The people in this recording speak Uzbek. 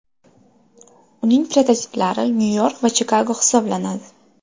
Uning prototiplari Nyu-York va Chikago hisoblanadi.